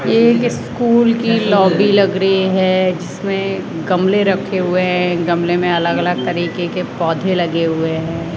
ये एक स्कूल की लॉबी लग रही है जिसमें गमले रखे हुए हैं। गमले में अलग-अलग तरीके के पौधे लगे हुए हैं।